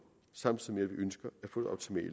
samtidig vi ønsker